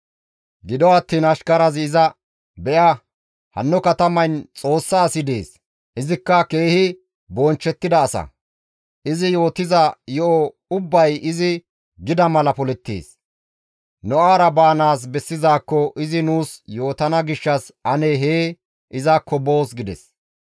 Gido attiin ashkarazi iza, «Be7a, hanno katamayn Xoossa asi dees; izikka keehi bonchchettida asa; izi yootiza yo7o ubbay izi gida mala polettees. Nu awara baanaas bessizaakko izi nuus yootana gishshas ane hee izakko boos» gides.